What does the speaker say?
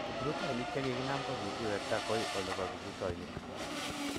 Kiprutoinik che kiginam ko kigiwekta gaoi olepo kiprutoinik.